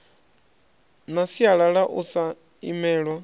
na sialala u sa imelwa